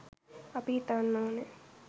අපි හිතන්න ඕනේ